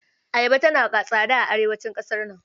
Ayaba tana tsada a arewacin ƙasar nan.